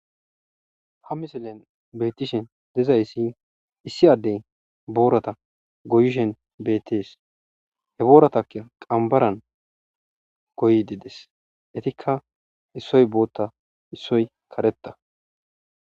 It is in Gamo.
ha misilen beetishen dezayssi issi addey boorata goyishen beettees he booratakka qambaran goyidi des etikka issoy bootta issoy karetta